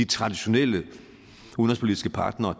traditionelle udenrigspolitiske partnere